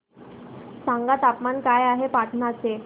सांगा तापमान काय आहे पाटणा चे